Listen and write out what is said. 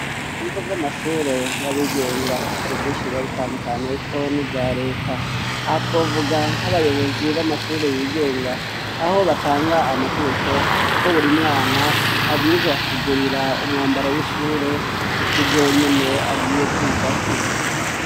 ibigo vy'amashure y'abigenga hari vyinshi biba bitandukaniyeko n'ivya leta. aha twovuga nk'abayobozi b'amashure y'igenga, aho batanga amategeko ko buri mwana abwirizwa kugurira umwambaro w'ishure ku kigo nyene agiye kwigako.